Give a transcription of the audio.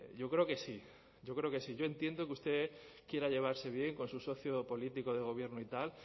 yo creo que sí yo creo que sí yo entiendo que usted quiera llevarse bien con su socio político de gobierno y tal